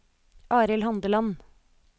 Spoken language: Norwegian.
Arild Handeland